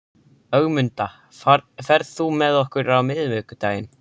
Ögmunda, ferð þú með okkur á miðvikudaginn?